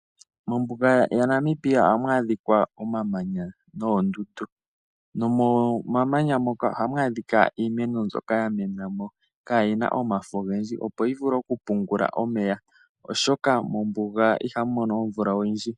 Mombuga yaNamibia ohamu adhika omamanya noondundu. Nomomamanya moka ohamu adhika iimeno mbyoka ya mena mo, kaayi na omafo ogendji opo yi vule oku pungula omeya oshoka mombuga ihamu mono omvula oyindji.